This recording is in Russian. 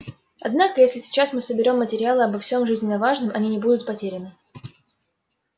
однако если сейчас мы соберём материалы обо всем жизненно важном они не будут потеряны